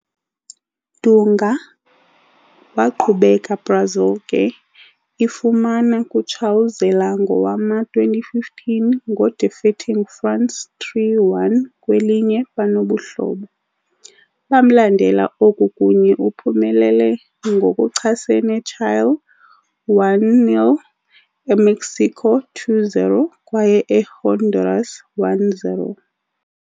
Dunga waqhubeka Brazil ke, ifumana kutshawuzela ngowama-2015 ngo defeating France 3-1 kwelinye banobuhlobo. Bamlandela oku kunye uphumelele ngokuchasene Chile, 1-0, Emexico, 2-0, kwaye Ehonduras, 1-0.